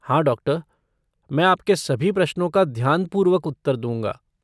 हाँ डॉक्टर! मैं आपके सभी प्रश्नों का ध्यानपूर्वक उत्तर दूँगा।